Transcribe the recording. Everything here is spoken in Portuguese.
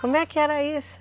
Como é que era isso?